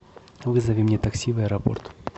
вызови мне такси в аэропорт